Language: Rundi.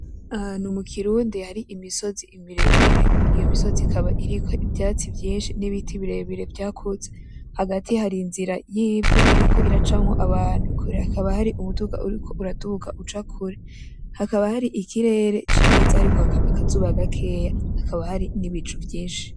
Ahantu mukirundi har'imisozi miremire, iyo misozi ikaba iriko ivyatsi vyinshi n'ibiti birebire vyakuze hagati yaho hari izira y'ivu iriko iracamwo abantu kure hakaba hari umuduga uriko uraduga uca kure, hakaba hari ikirere ciza hariko haraka akazuba gakeye hakaba hari nibicu vyinshi.